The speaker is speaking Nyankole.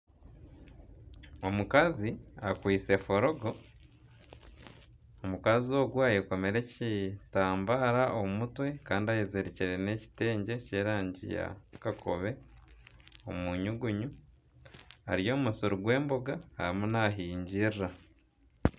Omukazi akwaitse forogo, omukazi ogwo ayekomire ekitambare omu mutwe kandi ayezirikire n'ekitengye ky'erangi ya kakobe omunyugunyu ari omu musiri gw'emboga arimu nahingirira.